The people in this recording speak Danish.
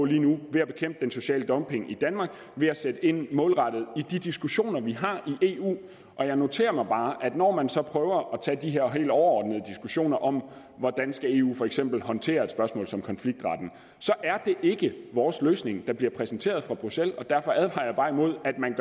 lige nu ved at bekæmpe den sociale dumping i danmark ved at sætte ind målrettet i de diskussioner vi har i eu og jeg noterer mig bare at når man så prøver at tage de her helt overordnede diskussioner om hvordan eu for eksempel skal håndtere et spørgsmål som konfliktret er det ikke vores løsning der bliver præsenteret fra bruxelles derfor advarer jeg bare imod at man